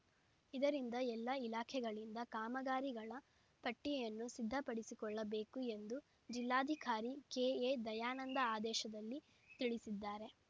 ಇದರಿಂದ ಎಲ್ಲ ಇಲಾಖೆಗಳಿಂದ ಕಾಮಗಾರಿಗಳ ಪಟ್ಟಿಯನ್ನು ಸಿದ್ಧಪಡಿಸಿಕೊಳ್ಳಬೇಕು ಎಂದು ಜಿಲ್ಲಾಧಿಕಾರಿ ಕೆಎ ದಯಾನಂದ ಆದೇಶದಲ್ಲಿ ತಿಳಿಸಿದ್ದಾರೆ